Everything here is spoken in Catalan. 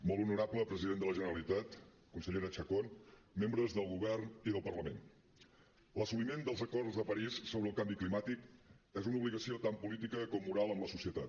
molt honorable president de la generalitat consellera chacón membres del govern i del parlament l’assoliment dels acords de parís sobre el canvi climàtic és una obligació tant política com moral amb la societat